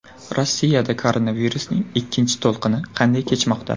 Rossiyada koronavirusning ikkinchi to‘lqini qanday kechmoqda?.